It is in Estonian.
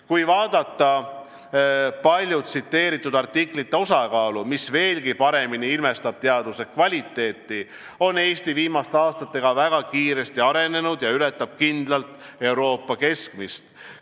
Kui vaadata palju tsiteeritud artiklite osakaalu, mis veelgi paremini ilmestab teaduse kvaliteeti, siis on näha, et Eesti on viimaste aastatega väga kiiresti arenenud ja ületab kindlalt Euroopa keskmist.